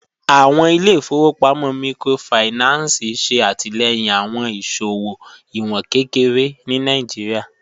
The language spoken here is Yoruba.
Awọn ilẹ̀-ifọ̀wọpamọ míkrófáìnánsì ṣe atilẹ̀yin awọn iṣowo iwọn kẹkẹre ni Nàìjíríà.